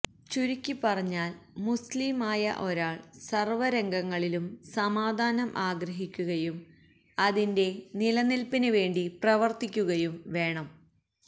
ചുരുക്കി പറഞ്ഞാല് മുസ്ലീം ആയ ഒരാള് സര്വ്വരംഗങ്ങളിലും സമാധാനം ആഗ്രഹിക്കുകയും അതിന്റെ നിലനില്പ്പിന് വേണ്ടി പ്രവര്ത്തിക്കുകയും വേണം